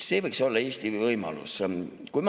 See võiks olla Eesti võimalus.